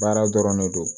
Baara dɔrɔn ne don